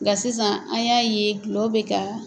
Nka sisan an y'a ye dɔlɔ bɛ ka.